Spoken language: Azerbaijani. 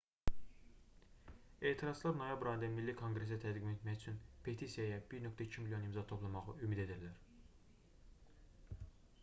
etirazçılar noyabr ayında milli konqresə təqdim etmək üçün petisiyaya 1,2 milyon imza toplamağı ümid edirlər